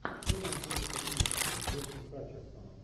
что найдется из с джошем хатчерсоном